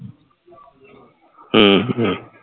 ਹਮ ਹਮ